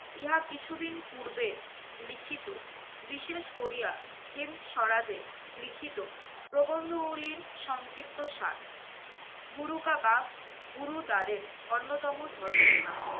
ইহা কিছুদিন পূর্বে লিখিত বিশেষ করিয়া হিন্দ সরাজে লিখিত প্রবন্ধগুলির সংক্ষিপ্তসার। গুরুকাবাগ, গুরুদ্বারের অন্যতম ধর্মস্থান।